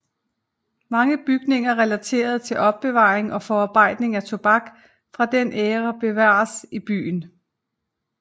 Mange bygninger relateret til opbevaring og forarbejdning af tobak fra den æra bevares i byen